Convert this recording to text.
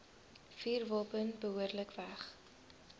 vuurwapen behoorlik weg